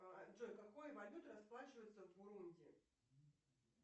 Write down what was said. джой какой валютой расплачиваются в бурунди